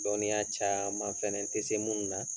Dɔnniya caman fana n tɛ se minnu na